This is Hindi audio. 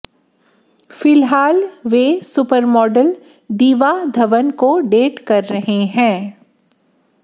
फिलहाल वे सुपरमॉडल दीवा धवन को डेट कर रहे हैं